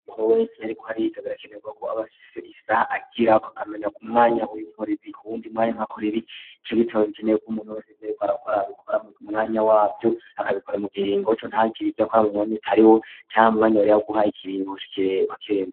Umuntu wese yariko arikabiraakenebwa ko abafise isa agira ko akamenya ku mwanya uyu mpure bi kuwundi mwanya nkakora ibicogitaba bikeneye ko umuntu wese byariko arakora bikora mwanya wabyo akabikora mu gihingoco ntakiri ibyo akora mo mwanya utariwo cyang umwanya wari ab guha ikiringo kiree wa kirendo.